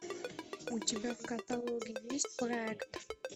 у тебя в каталоге есть проект